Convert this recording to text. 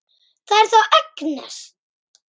Það er þá Agnes!